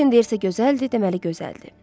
Doryan deyirsə gözəldir, deməli gözəldir.